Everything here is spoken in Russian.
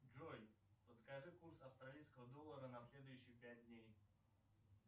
джой подскажи курс австралийского доллара на следующие пять дней